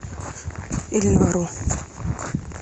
ильнару